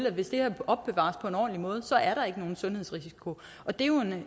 at hvis det er opbevaret på en ordentlig måde er der ikke nogen sundhedsrisiko og det er jo